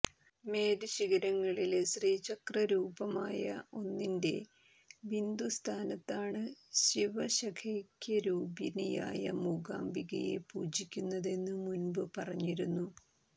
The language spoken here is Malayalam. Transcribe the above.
മേരുശിഖരങ്ങളില് ശ്രീചക്രരൂപമായ ഒന്നിന്റെ ബിന്ദുസ്ഥാനത്താണ് ശിവശക്തൈ്യക്യരൂപിണിയായ മൂകാംബികയെ പൂജിക്കുന്നതെന്നു മുന്പു പറഞ്ഞിരുന്നു